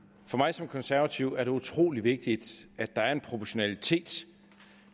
som konservativ er det utrolig vigtigt at der er en proportionalitet